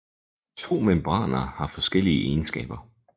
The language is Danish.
De to membraner har forskellige egenskaber